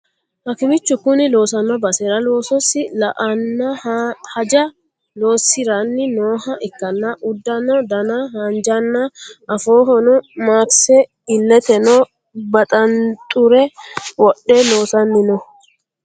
Hakimichu kuni loosano basera loososi la'ano haja loosiranni nooha ikkanna uddano dana haanjanna afoohono makise illeteno baxanxure wodhe loosani no